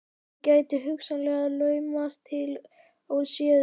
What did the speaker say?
Gæti ég hugsanlega laumast inn til hans óséður?